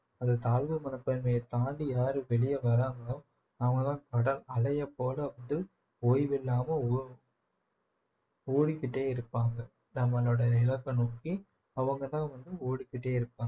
அது தாழ்வு மனப்பான்மையை தாண்டி யாரு வெளியே வராங்களோ அவங்கதான் கடல் அலையை போல வந்து ஓய்வில்லாமல் ஓ ஓடிக்கிட்டே இருப்பாங்க நம்மளோட இலக்க நோக்கி அவங்கதான் வந்து ஓடிக்கிட்டே இருப்பாங்க